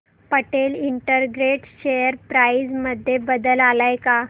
Patel integrated share price मध्ये बदल आलाय का